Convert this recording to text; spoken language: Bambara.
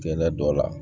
Kɛnɛ dɔ la